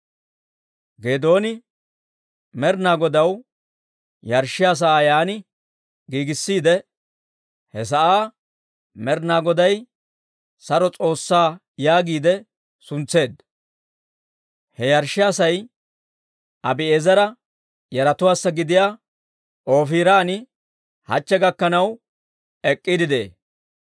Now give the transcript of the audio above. Geedooni Med'inaa Godaw yarshshiyaa sa'aa yaan giigissiide, he sa'aa Med'inaa Goday Saro S'oossaa yaagiide suntseedda. He yarshshiyaa sa'ay Abi'eezera yaratuwaassa gidiyaa Oofiran hachche gakkanaw ek'k'iide de'ee.